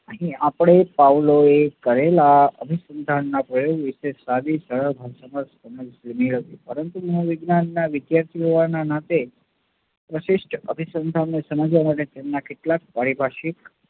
આપણે પાઉલોએ કરેલા અભિસંધાનના પ્રયોગ વિશે સાદી સમજ જૂની હતી પરંતુ મનોવિજ્ઞાનના વિદ્યાર્થી હોવાના નાતે પ્રશિષ્ટ અભિસંધાન ને સમજવા માટે કેટલાક પારીભાષિક